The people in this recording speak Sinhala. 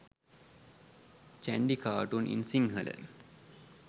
chandy cartoon in sinhala